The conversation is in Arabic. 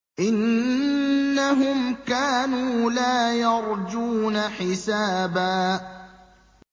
إِنَّهُمْ كَانُوا لَا يَرْجُونَ حِسَابًا